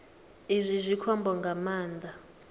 izwi zwi khombo nga maanḓa